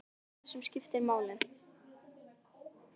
Sá það sem skipti máli.